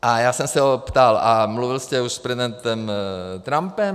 A já jsem se ho ptal: A mluvil jste už s prezidentem Trumpem?